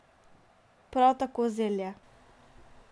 Prav tako zelje.